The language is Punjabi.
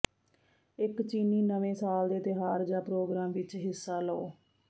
ਇਕ ਚੀਨੀ ਨਵੇਂ ਸਾਲ ਦੇ ਤਿਉਹਾਰ ਜਾਂ ਪ੍ਰੋਗਰਾਮ ਵਿਚ ਹਿੱਸਾ ਲਓ